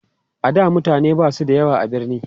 a da mutane Basu da yawa a birni